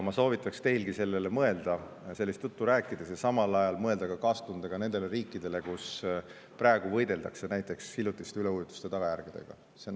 Ma soovitaksin teilgi sellele mõelda sellist juttu rääkides, ja samal ajal mõelda ka kaastundega nende riikide peale, kus praegu võideldakse näiteks hiljutiste üleujutuste tagajärgedega.